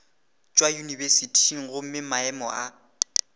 tšwa yunibesithing gomme maemo a